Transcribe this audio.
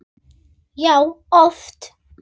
Já, oft.